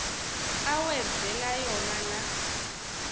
awenzela yona la